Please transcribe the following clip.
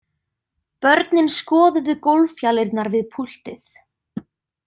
Börnin skoðuðu gólffjalirnar við púltið.